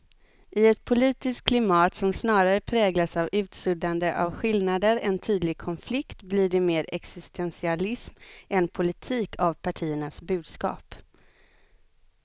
I ett politiskt klimat som snarare präglas av utsuddande av skillnader än tydlig konflikt blir det mer existentialism än politik av partiernas budskap.